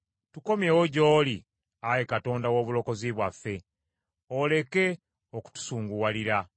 Tukomyewo gy’oli, Ayi Katonda w’obulokozi bwaffe, oleke okutusunguwalira.